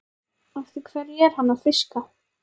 Eftir hverju er hann að fiska?